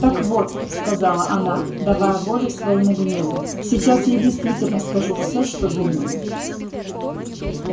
так вот сказала она давая волю своему гневу сейчас я действительно скажу всё что думаю